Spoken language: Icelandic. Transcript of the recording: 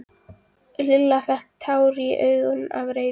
Lilla fékk tár í augun af reiði.